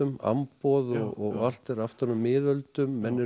amboð og allt er aftan úr miðöldum menn eru